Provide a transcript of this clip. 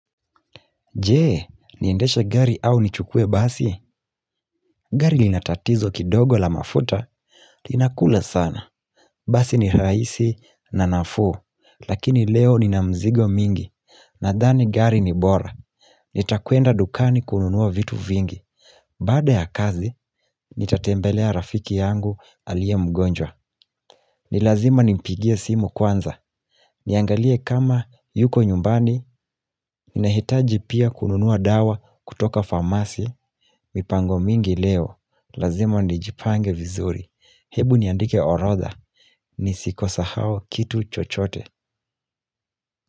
Je, niendeshe gari au nichukue basi? Gari lina tatizo kidogo la mafuta, linakula sana. Basi ni rahisi na nafuu, lakini leo nina mzigo mingi, nadhani gari ni bora. Nitakwenda dukani kununua vitu vingi. Baada ya kazi, nitatembelea rafiki yangu aliye mgonjwa. Ni lazima nimpigie simu kwanza. Niangalie kama yuko nyumbani, ninahitaji pia kununua dawa kutoka famasi mipango mingi leo, lazima nijipange vizuri. Hebu niandike orodha, nisisahau kitu chochote.